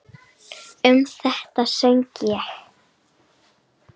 Um þetta söng ég: